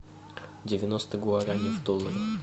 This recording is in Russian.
девяносто гуарани в долларах